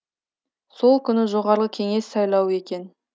сол күні жоғарғы кеңес сайлауы екен